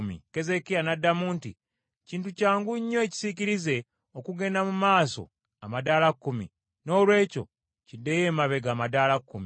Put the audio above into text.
Keezeekiya n’addamu nti, “Kintu kyangu nnyo ekisiikirize okugenda mu maaso amadaala kkumi, Noolwekyo kiddeyo emabega amadaala kkumi.”